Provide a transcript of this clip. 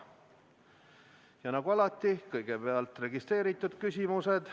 Ja nagu alati, kõigepealt on registreeritud küsimused.